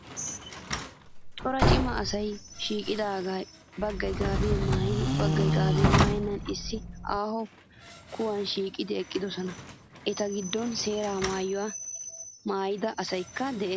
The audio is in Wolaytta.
Cora cima asayi shiiqidaagee baggayi gaabiyaa maayyin baggayi gaabiyaa maayyennan issi aaho kuwan shiiqidi eqqidosona. Eta giddon seeraa maayyuwaa maayyida asayikka des.